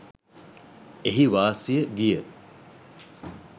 එහි වාසිය ගිය